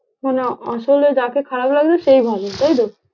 মানে আসলে যাকে খারাপ লাগতো সেই ভালো তাই তো?